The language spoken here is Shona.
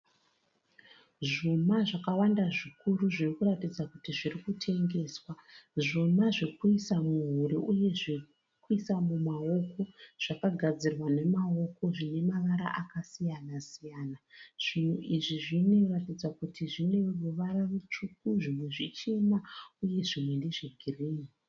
Zvuma zvakawanda zvikuru zvirikuratidza kuti zvirikutengeswa zvuma zvekuisa muhuro uye zvekuisa mumaoko zvakagadzirwa namawoko zvine mavara akasiyana siyana zvinhu izvu zvinoratidza kuti zvinemavara matsvuku, zvimwe zvichena uye zvimwe ndezvegirini.